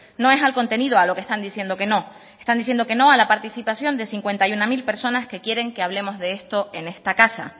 no es al contenido a lo que está diciendo que no están diciendo que no a la participación de cincuenta y uno mil personas que quieren que hablemos de esto en esta casa